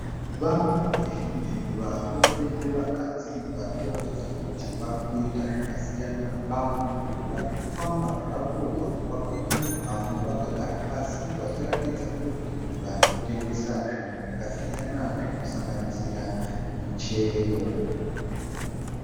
Vanhu vazhinji varume nevakadzi vari kuratidza kuti vari kuita zvakasiyana vamwe ndiwo vari kufamba zvavo vamwe vakamira vamwe vakagara pasi vachiratidza kuti vari kutengesa zvinhu zvakasiyana zvinosanganisira michero.